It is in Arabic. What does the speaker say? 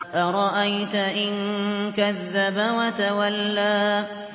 أَرَأَيْتَ إِن كَذَّبَ وَتَوَلَّىٰ